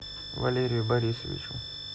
валерию борисовичу